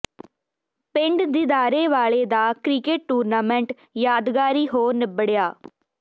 ਪਿੰਡ ਦੀਦਾਰੇ ਵਾਲੇ ਦਾ ਕ੍ਰਿਕਟ ਟੂਰਨਾਮੈਂਟ ਯਾਦਗਾਰੀ ਹੋ ਨਿੱਬੜਿਆ